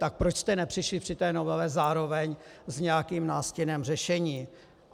Tak proč jste nepřišli při té novele zároveň s nějakým nástinem řešení?